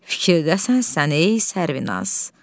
Fikirlisən sən ey Sərvinaz.